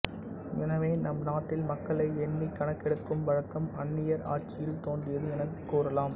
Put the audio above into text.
எனவே நம் நாட்டில் மக்களை எண்ணிக் கணக்கெடுக்கும் வழக்கம் அன்னியர் ஆட்சியில் தோன்றியது என்று கூறலாம்